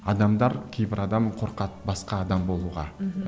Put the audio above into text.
адамдар кейбір адам қорқады басқа адам болуға мхм